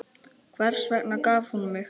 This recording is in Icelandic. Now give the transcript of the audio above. Hvers vegna gaf hún mig?